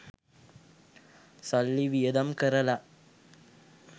සල්ලි වියදම් කරලා